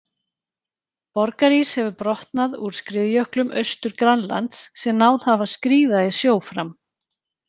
Borgarís hefur brotnað úr skriðjöklum Austur-Grænlands sem náð hafa að skríða í sjó fram.